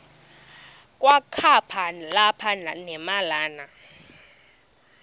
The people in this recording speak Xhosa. kwakaba lapha nemalana